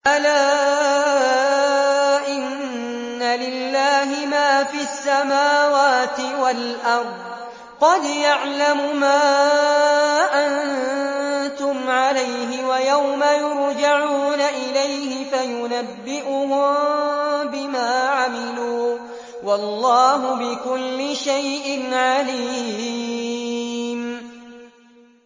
أَلَا إِنَّ لِلَّهِ مَا فِي السَّمَاوَاتِ وَالْأَرْضِ ۖ قَدْ يَعْلَمُ مَا أَنتُمْ عَلَيْهِ وَيَوْمَ يُرْجَعُونَ إِلَيْهِ فَيُنَبِّئُهُم بِمَا عَمِلُوا ۗ وَاللَّهُ بِكُلِّ شَيْءٍ عَلِيمٌ